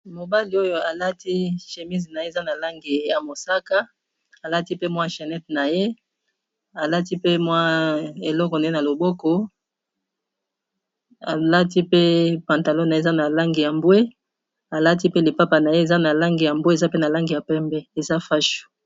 mobali oyo alati chémise na ye eza na lange ya mosaka alati pe mwa channete na ye alati pe mwa eloko nye na loboko alati pe pantalona eza na lange ya mbwe alati pe lipapa na ye eza na lange ya mbwe eza pe na lange ya pembe eza fashu